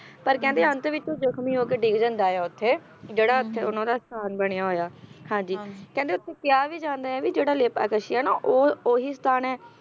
ਪਰ ਕਹਿੰਦੇ ਅੰਤ ਵਿੱਚ ਉਹ ਜਖਮੀ ਹੋਕੇ ਡਿੱਗ ਜਾਂਦਾ ਆ ਉੱਥੇ ਜਿਹੜਾ ਉੱਥੇ ਉਹਨਾਂ ਦਾ ਸਥਾਨ ਬਣਿਆ ਹੋਇਆ ਹਾਂਜੀ ਹਾਂ ਕਹਿੰਦੇ ਉੱਥੇ ਕਿਹਾ ਵੀ ਜਾਂਦਾ ਆ ਕੇ ਜਿਹੜਾ ਲੇਪਾਕਸ਼ੀ ਆ ਨਾ ਉਹ ਓਹੀ ਸਥਾਨ ਆ